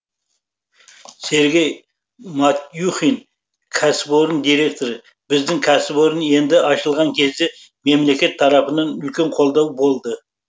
сергей матюхин кәсіпорын директоры біздің кәсіпорын енді ашылған кезде мемлекет тарапынан үлкен қолдау болды